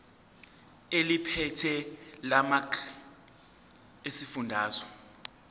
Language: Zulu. eliphethe lamarcl esifundazwe